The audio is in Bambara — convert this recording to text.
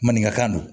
Maninkakan don